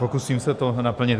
Pokusím se to naplnit.